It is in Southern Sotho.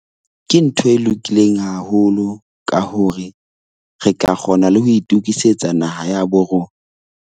Ke ntho e lokileng haholo ka hore re ka kgona le ho itokisetsa naha ya borona.